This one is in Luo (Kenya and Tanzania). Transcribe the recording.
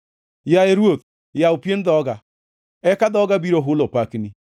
Yaye Ruoth yaw pien dhoga, eka dhoga biro hulo pakni.